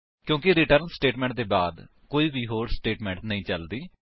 ਕਿਉਂਕਿ return statement ਦੇ ਬਾਅਦ ਕੋਈ ਵੀ ਹੋਰ ਸਟੇਟਮੇਂਟ ਨਹੀਂ ਚਲਦੀ